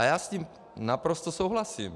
A já s ním naprosto souhlasím.